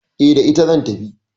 E, da ita zan tafi.